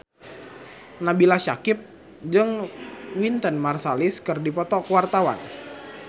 Nabila Syakieb jeung Wynton Marsalis keur dipoto ku wartawan